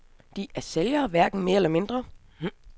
De er sælgere, hverken mere eller mindre.